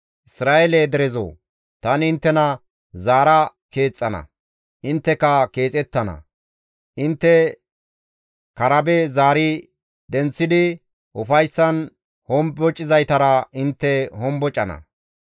Isra7eele derezoo! Tani inttena zaara keexxana; intteka keexettana. Intte karabe zaari denththidi ufayssan hombocizaytara intte hombocana.